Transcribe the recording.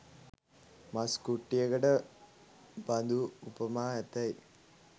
මස් කුට්ටියකට බඳු උපමා ඇතැයි